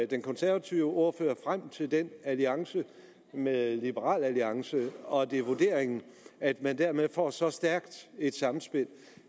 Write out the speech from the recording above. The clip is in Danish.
den konservative ordfører frem til den alliance med liberal alliance og er det vurderingen at man dermed får så stærkt et samspil